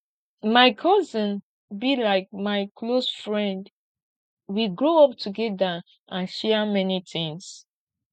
my cousin be like my close friend we grow up togeda and share many tins